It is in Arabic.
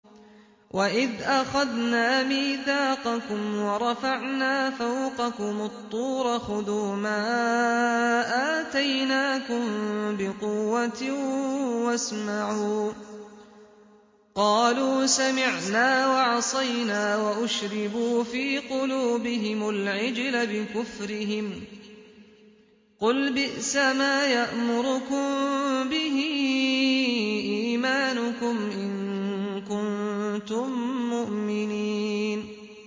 وَإِذْ أَخَذْنَا مِيثَاقَكُمْ وَرَفَعْنَا فَوْقَكُمُ الطُّورَ خُذُوا مَا آتَيْنَاكُم بِقُوَّةٍ وَاسْمَعُوا ۖ قَالُوا سَمِعْنَا وَعَصَيْنَا وَأُشْرِبُوا فِي قُلُوبِهِمُ الْعِجْلَ بِكُفْرِهِمْ ۚ قُلْ بِئْسَمَا يَأْمُرُكُم بِهِ إِيمَانُكُمْ إِن كُنتُم مُّؤْمِنِينَ